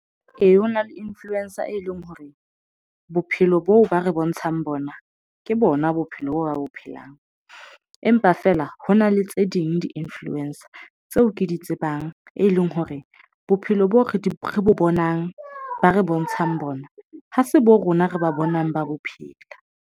Ee, ho na le influencer e leng hore bophelo boo ba re bontshang bona, ke bona bophelo boo ba bo phelang, empa feela hona le tse ding di-nfluencer tseo ke di tsebang, e leng hore bophelo boo re di bonang, ba re bontshang bona, ha se bo rona re ba bonang ba bophelo.